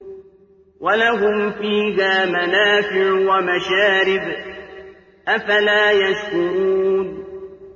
وَلَهُمْ فِيهَا مَنَافِعُ وَمَشَارِبُ ۖ أَفَلَا يَشْكُرُونَ